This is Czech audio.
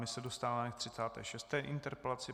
My se dostáváme k 36. interpelaci.